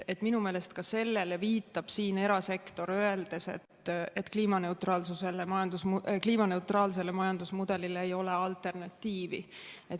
Minu meelest viitab sellele ka erasektor, öeldes, et kliimaneutraalsele majandusmudelile ei ole alternatiivi.